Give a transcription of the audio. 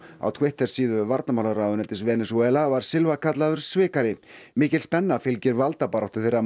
á Twitter síðu varnarmálaráðuneytis Venesúela var Silva kallaður svikari mikil spenna fylgir valdabaráttu þeirra